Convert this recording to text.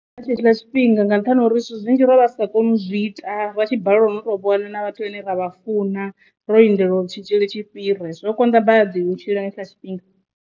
Nga tshetshiḽa tshifhinga nga nṱhani ha uri zwithu zwinzhi ro vha ri sa koni u zwi ita ra tshi baleliwa na u to vhona na vhathu vhane ra vha funa ro lindela uri tshitzhili tshi fhire zwo konḓa badi u tshila nga hetshiḽa tshifhinga.